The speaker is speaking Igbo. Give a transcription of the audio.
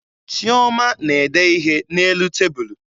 Chioma na-ede ihe n'elu tebulu